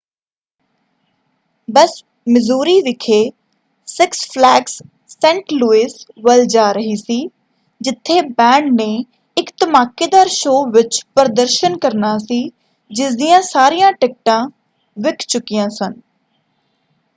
ਬੱਸ Missouri ਵਿਖੇ Six Flags Saint Louis ਵੱਲ ਜਾ ਰਹੀ ਸੀ ਜਿੱਥੇ ਬੈਂਡ ਨੇ ਇੱਕ ਧਮਾਕੇਦਾਰ ਸ਼ੋਅ ਵਿੱਚ ਪ੍ਰਦਰਸ਼ਨ ਕਰਨਾ ਸੀ ਜਿਸਦੀਆਂ ਸਾਰੀਆਂ ਟਿਕਟਾਂ ਵਿੱਕ ਚੁਕੀਆਂ ਸਨ।